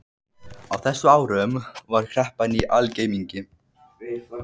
Á þessum árum var kreppan í algleymingi.